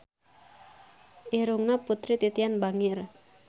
Irungna Putri Titian bangir